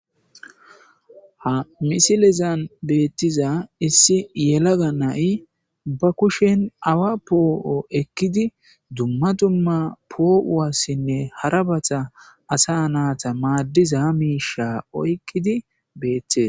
Ha misilezan beettiza issi yelaga nai ba kushen awa poo7o ekkidi dumma dumma poo7uwassinne harabata asa naata maaddiza ha miisha oykkidi beette.